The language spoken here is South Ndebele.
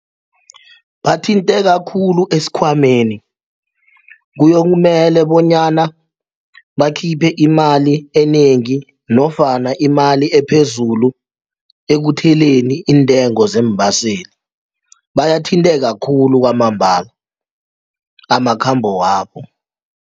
Bathinteka khulu esikhwameni kuyokumele bonyana bakhiphe imali enengi nofana imali ephezulu ekutheleni iintengo zeembaseli bayathinteka khulu kwamambala amakhambo wabo.